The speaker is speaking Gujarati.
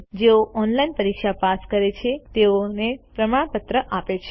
જેઓ ઓનલાઇન પરીક્ષા પાસ કરે છે તેમને પ્રમાણપત્ર આપે છે